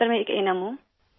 میں ایک A N M ہوں سر